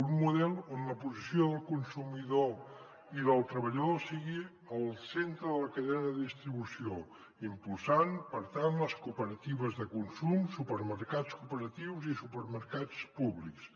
un model on la posició del consumidor i del treballador sigui al centre de la cadena de distribució impulsant per tant les cooperatives de consum supermercats cooperatius i supermercats públics